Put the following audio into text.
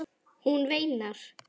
Hún veinar.